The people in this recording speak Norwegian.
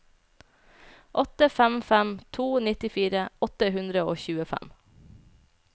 åtte fem fem to nittifire åtte hundre og tjuefem